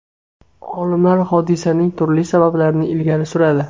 Olimlar hodisaning turli sabablarini ilgari suradi.